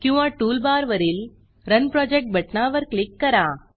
किंवा टूलबार वरील run project run project बटणावर क्लिक करा